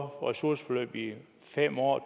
ressourceforløb i fem år